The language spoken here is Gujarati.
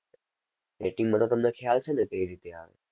rating માં તો તમને ખ્યાલ છે ને કઈ રીતે આવે?